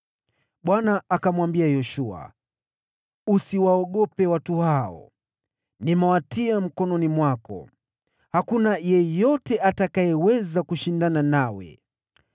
Bwana akamwambia Yoshua, “Usiwaogope watu hao, nimewatia mkononi mwako. Hakuna yeyote atakayeweza kushindana nawe.”